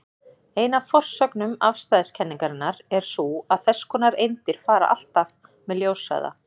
Ein af forsögnum afstæðiskenningarinnar er sú að þess konar eindir fara alltaf með ljóshraða.